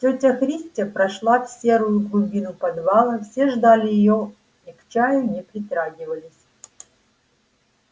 тётя христя прошла в серую глубину подвала все ждали её и к чаю не притрагивались